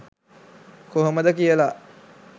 කොහමද කියලා